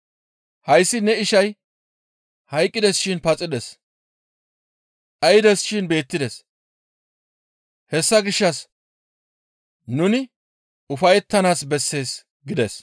Hayssi ne ishay hayqqides shin paxides; dhaydes shin beettides; hessa gishshas nuni ufayettanaas bessees› gides.»